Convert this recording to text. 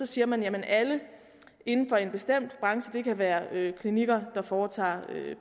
siger man at alle inden for en bestemt branche det kan være klinikker der foretager